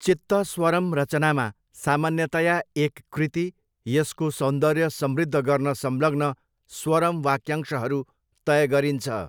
चित्तस्वरम रचनामा सामान्यतया एक कृति, यसको सौन्दर्य समृद्ध गर्न संलग्न स्वरम वाक्यांशहरू तय गरिन्छ।